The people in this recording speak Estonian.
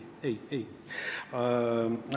Ei-ei-ei!